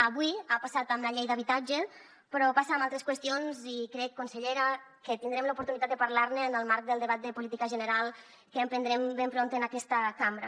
avui ha passat amb la llei d’habitatge però passa amb altres qüestions i crec consellera que tindrem l’oportunitat de parlar ne en el marc del debat de política general que emprendrem ben prompte en aquesta cambra